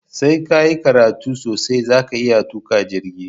Sai kayi karatu sosai zaka iya tuƙa jirgi